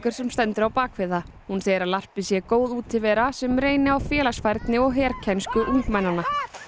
sem stendur á bak við það hún segir að larpið sé góð útivera sem reyni á félagsfærni og herkænsku ungmennanna